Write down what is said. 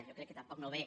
jo crec que tampoc no ve